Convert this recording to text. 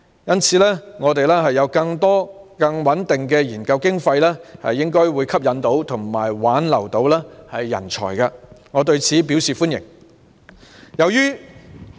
因此，教育界將有更多和更穩定的研究經費，應可吸引及挽留人才，我對此表示歡迎。